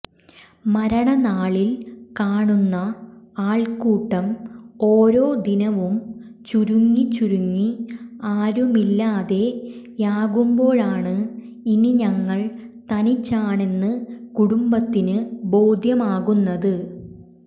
മരണനാളിൽ കാണുന്ന ആൾക്കൂട്ടം ഓരോ ദിനവും ചുരുങ്ങി ചുരുങ്ങി ആരുമില്ലാതെയാകുന്പോഴാണ് ഇനി ഞങ്ങൾ തനിച്ചാണെന്ന് കുടുംബത്തിന് ബോധ്യമാകുന്നത്